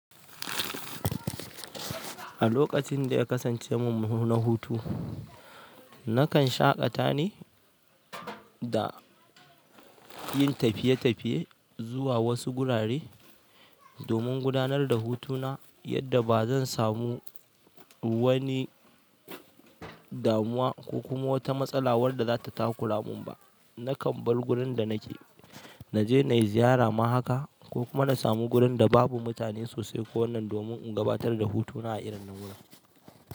A lokacin da ya kasance min muna hutu, nakan shaƙata ni da yin tafiye-tafiye zuwa wasu gurare domin gudanar da hutuna yadda ba zan samu wani damuwa ko kuma wata matsala wadda zata takura min ba nakan bar wurin da nake, na je na yi ziyara mahaka ko kuma na samu wurin da babu mutane sosai ko wannan domin in gabatar da hutuna a irin na wurin.